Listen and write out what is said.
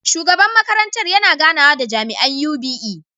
Shugaban makarantar yana ganawa da jami’an UBE.